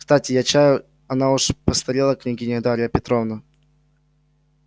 кстати я чай она уж очень постарела княгиня дарья петровна